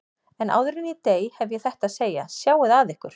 En áður en ég dey hef ég þetta að segja: Sjáið að ykkur.